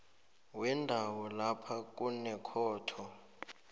wendawo lapha kunekhotho